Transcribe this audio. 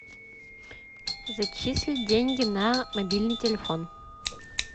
зачислить деньги на мобильный телефон